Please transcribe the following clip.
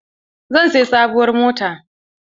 Zan siyi sabuwar mota.